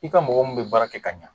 I ka mɔgɔ minnu be baara kɛ ka ɲa